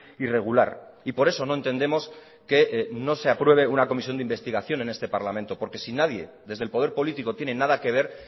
irregular y por eso no entendemos que no se apruebe una comisión de investigación en este parlamento porque si nadie desde el poder político tiene nada que ver